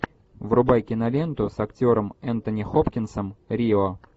врубай киноленту с актером энтони хопкинсом рио